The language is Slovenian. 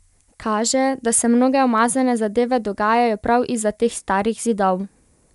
Kaže, da se mnoge umazane zadeve dogajajo prav izza teh starih zidov.